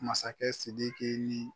Masakɛ sidiki ni